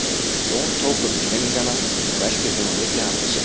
Jón tók upp teningana og velti þeim á milli handa sér.